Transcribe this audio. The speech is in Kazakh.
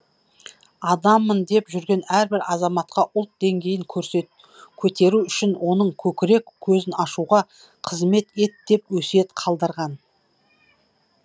адаммын деп жүрген әрбір азаматқа ұлт деңгейін көтеру үшін оның көкірек көзін ашуға қызмет ет деп өсиет қалдырған